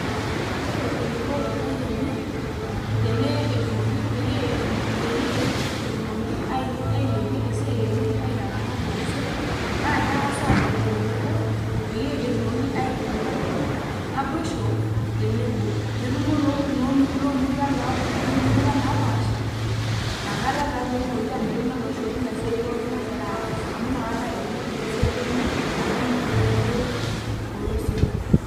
Yiolo eneiko irpayiani peyie etumoki ailepie esiai enye aitalang'a irpolosien naa keng'as aatumo tenebo peyie etumoki aitudupai naboisho tenebo netumo iloomuruan naapasha inakata taa peetumoki aanoto naboisho teina siaai pooki nagiraa aas amu inakata etumoki esiai enye ashomo kulie polosien.